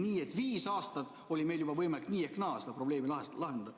Nii et viis aastat oli meil juba võimalik nii ehk naa seda probleemi lahendada.